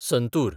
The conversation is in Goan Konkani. संतूर